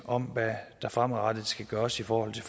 om hvad der fremadrettet skal gøres i forhold